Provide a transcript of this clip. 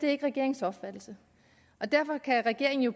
er regeringens opfattelse og derfor kan regeringen jo